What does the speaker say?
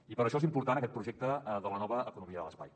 i per això és important aquest projecte de la nova economia de l’espai